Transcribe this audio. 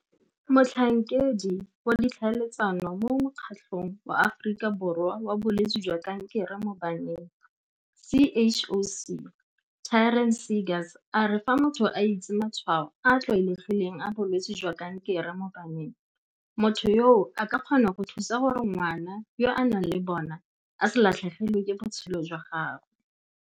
Motlhankedi wa Ditlhaeletsano mo Mokgatlong wa Aforika Borwa wa Bolwetse jwa Kankere mo Baneng CHOC Taryn Seegers a re fa motho a itse matshwao a a tlwaelegileng a bolwetse jwa kankere mo baneng, motho yoo a ka kgona go thusa gore ngwana yo a nang le bona a se latlhegelwe ke botshelo jwa gagwe.